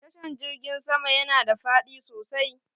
Tashan jirgin sama yana da fadi sosai